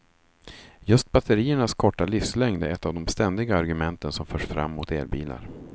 Just batteriernas korta livslängd är ett av de ständiga argumenten som förs fram mot elbilar.